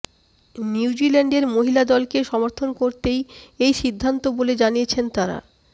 নিউজিল্যান্ডের মহিলা দলকে সমর্থন করতেই এই সিদ্ধান্ত বলে জানিয়েছেন তারা